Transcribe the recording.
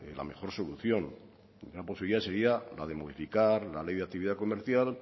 la mejor solución una posibilidad sería la de modificar la ley de actividad comercial